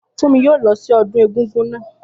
Fúnmi yóò lọ sí ọdún egúngún naa